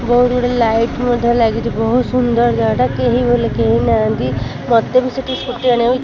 ବୋହୁତ୍ ଗୁଡ଼ିଏ ଲାଇଟ୍ ମଧ୍ୟ ଲାଗିଚି ବୋହୁତ ସୁନ୍ଦର ଜାଗାଟା କେହି ବୋଲି କେହି ନାହାନ୍ତି ମତେ ବି ସେଠି ସ୍କୁଟି ଆଣିବାକୁ--